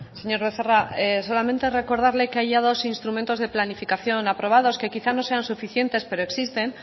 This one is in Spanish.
señor becerra solamente recordarle que hay ya dos instrumentos de planificación aprobados que quizá no sean suficientes pero existen